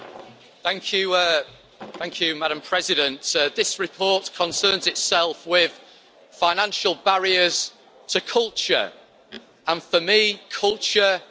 Madam President, this report concerns itself with financial barriers to culture, and for me, culture includes football.